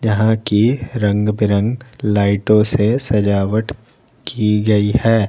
जहां की रंग बिरंग लाइटों से सजावट की गई है।